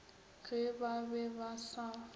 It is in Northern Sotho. ge ba be ba sa